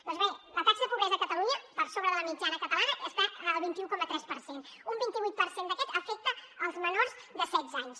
doncs bé la taxa de pobresa a catalunya per sobre de la mitjana catalana està al vint un coma tres per cent un vint vuit per cent d’aquest afecta els menors de setze anys